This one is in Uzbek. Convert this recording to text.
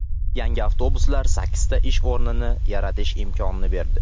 Yangi avtobuslar sakkizta ish o‘rnini yaratish imkonini berdi.